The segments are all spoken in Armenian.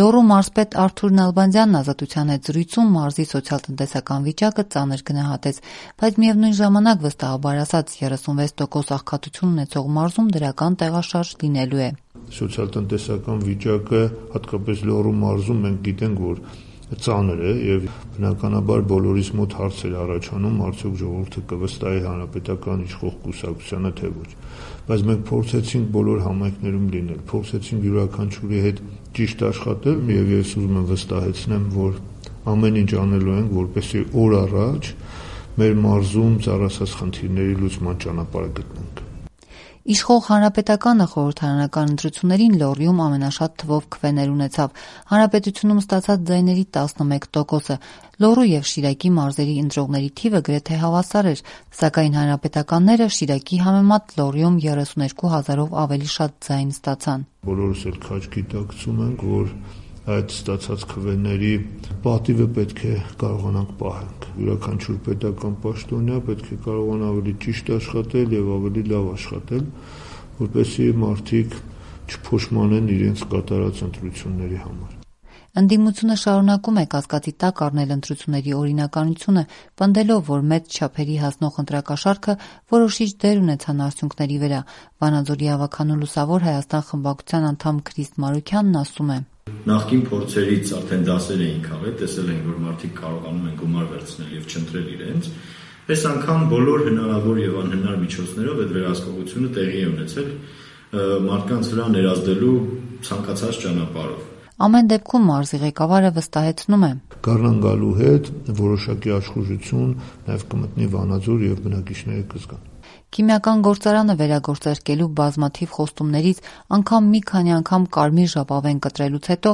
Լոռու մարզպետ Արթուր Նալբանդյանն «Ազատության» հետ զրույցում մարզի սոցիալ-տնտեսական վիճակը ծանր գնահատեց, բայց, միևնույն ժամանակ, վստահեցրեց՝ 36 տոկոս աղքատություն ունեցող մարզում դրական տեղաշարժ լինելու է։ «Սոցիալ-տնտեսական վիճակը, հատկապես Լոռու մարզում, մենք գիտենք, որ ծանր է և, բնականաբար, բոլորիս մոտ հարց էր առաջանում՝ արդյո՞ք ժողովուրդը կվստահի իշխող Հանրապետական կուսակցությանը, թե ոչ։ Բայց մենք փորձեցինք բոլոր համայնքներում լինել, փորձեցինք յուրաքանչյուրի հետ ճիշտ աշխատել, և ես ուզում եմ վստահեցնել, որ ամեն ինչ անելու ենք, որպեսզի օր առաջ մեր մարզում ծառացած բոլոր խնդիրների լուծման ճանապարհը գտնենք»,- ասաց մարզպետը։ Իշխող Հանրապետականը խորհրդարանական ընտրություններում Լոռիում ամենաշատ թվով քվեներ ստացավ՝ ողջ հանրապետությունում ստացած ձայների շուրջ 11 տոկոսը։ Լոռու և Շիրակի մարզերի ընտրողների թիվը գրեթե հավասար էր, սակայն, հանրապետականները, Շիրակի համեմատ, Լոռիում 32 հազարով ավելի ձայն ստացան։ «Բոլորս էլ քաջ գիտակցում ենք, որ այդ ստացած քվեների պատիվը պետք է կարողանանք պահել։ Յուրաքանչյուր պետական պաշտոնյա պետք է կարողանա ավելի ճիշտ աշխատել և ավելի լավ աշխատել, որպեսզի մարդիկ չփոշմանեն իրենց կատարած ընտրության համար»,- շարունակեց Նալբանդյանը: Ընդդիմությունը, մինչդեռ, շարունակում է կասկածի տակ առնել ընտրությունների օրինականությունը՝ պնդելով, որ մեծ չափերի հասնող ընտրակաշառքը որոշիչ դեր ունեցավ արդյունքների վրա։ Վանաձորի ավագանու «Լուսավոր Հայաստան» խմբակցության անդամ Քրիստ Մարուքյանն ասում է. «Նախկին փորձերից արդեն դասեր էին քաղել, տեսել էին, որ արդեն մարդիկ կարողանում են գումար վերցնել և չընտրել իրենց։ Էս անգամ բոլոր հնարավոր և անհնար միջոցներով վերահսկողություն տեղի ունեցավ՝ ցանկացած ճանապարհով մարդկանց վրա ներազդելու»։ Մարզի ղեկավարը հակադարձում ու վստահեցնում է՝ «Գարնան գալու հետ որոշակի աշխուժություն կմտնի Վանաձորում և բնակիչները կզգան»։ Վանաձորի քիմիական գործարանը վերագործարկելու բազմաթիվ խոստումներից, նույնիսկ մի քանի անգամ կարմիր ժապավեն կտրելուց հետո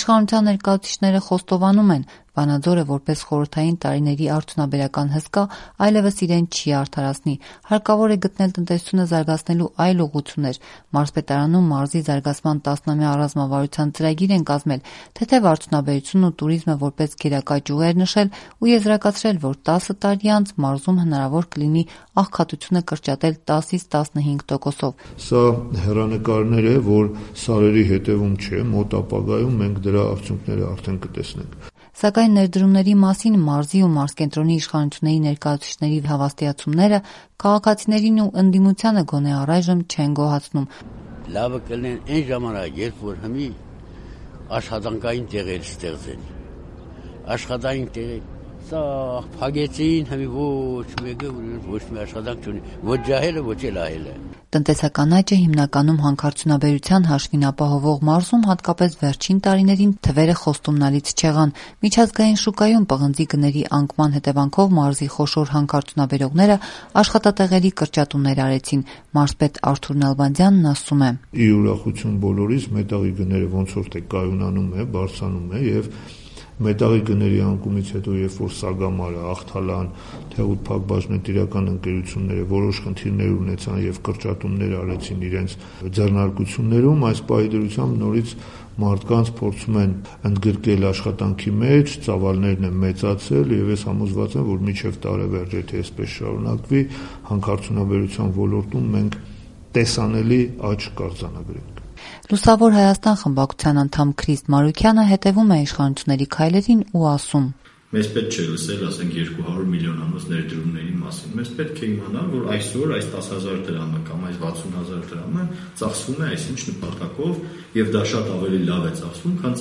իշխանության ներկայացուցիչները խոստովանում են՝ Վանաձորը, որպես խորհրդային տարիների արդյունաբերական հսկա, այլևս իրեն չի արդարացնի։ Հարկավոր է գտնել տնտեսությունը զարգացնելու այլ ուղղություններ։ Մարզպետարանում մարզի զարգացման 10-ամյա ռազմավարության ծրագիր են կազմել, թեթև արդյունաբերությունն ու տուրիզմը որպես գերակա ճյուղեր նշել ու եզրակացրել, որ 10 տարի անց մարզում հնարավոր կլինի աղքատությունը կրճատել 10-15 տոկոսով։ «Սա հեռանկար է, որ սարերի հետևում չէ։ Մոտ ապագայում մենք դրա արդյունքները կտեսնենք»։ Սակայն, ներդրումների մասին մարզի ու մարզկենտրոնի իշխանությունների ներկայացուցիչների հավաստիացումները քաղաքացիներին գոնե առայժմ չեն գոհացնում, «աշխատատեղեր են պետք»,- «Ազատության» հետ զրույցում ասաց մարզի բնակիչներից մեկը: Տնտեսական աճը հիմնականում հանքարդյունաբերության հաշվին ապահովող այս մարզում հատկապես վերջին տարիներին արձանագրված ցուցանիշները խոստումնալից չեն։ Միջազգային շուկայում պղնձի գների անկման հետևանքով մարզի խոշոր հանքարդյունաբերողներն աշխատատեղերի կրճատումներ արեցին։ Մարզպետ Արթուր Նալբանդյանն ասում է. «Ի ուրախություն բոլորիս, մետաղի գները ոնց որ թե կայունանում են, բարձրանում են։ Մետաղի գների անկումից հետո, երբ որ Սագամարը, Ախթալան, Թեղուտ ՓԲԸ-ն որոշ խնդիրներ ունեցան և կրճատումներ արեցին իրենց ձեռնարկություններում, այս պահի դրությամբ՝ նորից մարդկանց փորձում են ընդգրկել աշխատանքի մեջ: Ծավալներն են մեծացրել, և ես համոզված եմ, որ մինչև տարեվերջ եթե էսպես շարունակվի, հանքարդյունաբերության ոլորտում մենք տեսանելի աճ կարձանագրենք»։ «Լուսավոր Հայաստան» խմբակցության անդամ Քրիստ Մարուքյանը, մինչդեռ, թերահավատ է․ «Մեզ պետք չէ լսել, ասենք, 200 միլիոնանոց ներդրումների մասին: Մեզ պետք է իմանալ, որ այսօր այս 10 հազար դրամը կամ այս 60 հազար դրամը ծախսվում է այսինչ նպատակով, և դա շատ ավելի լավ է ծախսվում, քան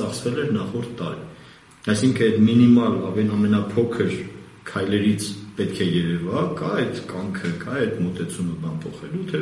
ծախսվել էր նախորդ տարի։ Այսինքն, էդ մինիմալ ամենափոքր քայլերից պետք է երևա՝ կա՞ էդ կամքը, կա՞ էդ մոտեցումը, բան փոխելո՞ւ, թե՞